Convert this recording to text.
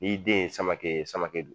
I den ye Samake ye Samake don